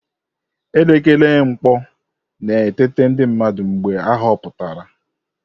Elekere mkpu na-eteta ndị mmadụ mgbe ahọpụtara.